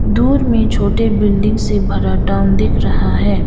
दूर में छोटे बिल्डिंग से भरा टाउन दिख रहा है।